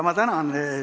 Ma tänan!